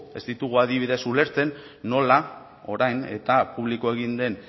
ez ditugu adibidez ulertzen nola orain eta publiko egin den